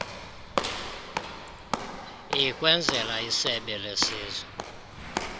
likwenzela isebe lesizwe